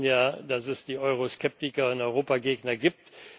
Wir wissen ja, dass es die Euroskeptiker und Europagegner gibt.